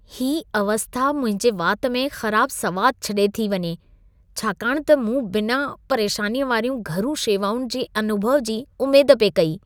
ही अवस्था मुंहिंजे वाति में ख़राबु सवादु छॾे थी वञे छाकाणि त मूं बिना-परेशानीअ वारियूं घरू शेवाउनि जे अनुभव जी उमेद पे कई।